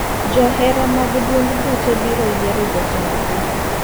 Johera mag duond buche biro yiero jotend gi.